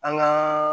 An ka